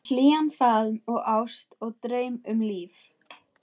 Um hlýjan faðm og ást og draum, um líf